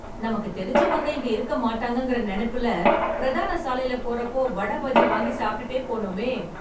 நமக்கு தெரிஞ்சவங்க இங்க இருக்க மாட்டாங்கங்கற நெனைப்புல, பிரதான சாலைல போறப்போ, வடை, பஜ்ஜி வாங்கி சாப்ட்டுட்டே போனோமே...